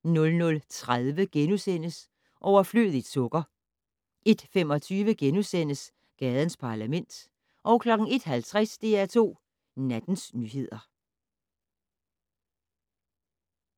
00:30: Overflødigt sukker * 01:25: Gadens Parlament * 01:50: DR2 Nattens nyheder